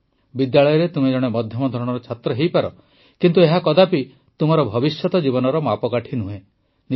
ବିଦ୍ୟାଳୟରେ ତୁମେ ଜଣେ ମଧ୍ୟମ ଧରଣର ଛାତ୍ର ହୋଇପାର କିନ୍ତୁ ଏହା କଦାପି ତୁମ ଭବିଷ୍ୟତ ଜୀବନର ମାପକାଠି ନୁହେଁ